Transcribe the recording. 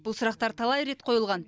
бұл сұрақтар талай рет қойылған